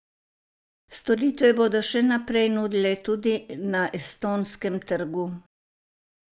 Storitve bodo še naprej nudili tudi na estonskem trgu.